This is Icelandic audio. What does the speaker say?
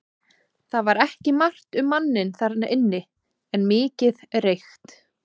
Það var ekki margt um manninn þarna inni en mikið reykt.